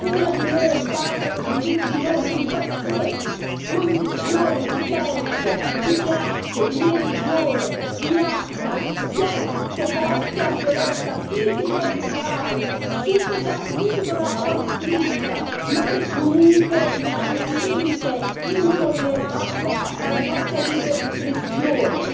E allora queste donne, cari colleghi, parlano di ciascuna di noi, parlano di tutte noi, che in qualsiasi condizione di censo, di classe, di religione o di razza siamo sottoposte a violenza fisica o verbale, subdola o esplicita, ma che comunque rimane un limite